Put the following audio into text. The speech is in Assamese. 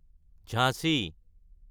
ঝাঞ্চি